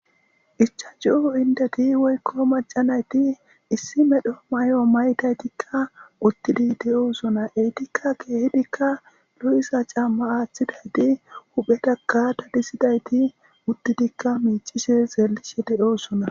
Ichachu indeti woyko maca nayti issi medho mayuwa mayidaytika utidi de'osona eetika kehipeka lo'iza c'aama aatidayti huuphetaka dadisidayti miicishe xeelishe de'osona.